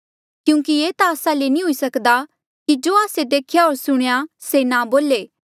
क्यूंकि ये ता आस्सा ले नी हुई सक्दा कि जो आस्से देख्या होर सुणेया से ना बोले